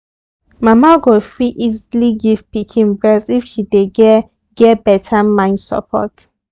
mama go fit easily give pikin breast if she dey get get beta mind support